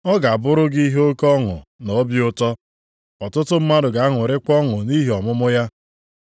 Ọ ga-abụrụ gị ihe oke ọṅụ na obi ụtọ, ọtụtụ mmadụ ga-aṅụrịkwa ọṅụ nʼihi ọmụmụ ya.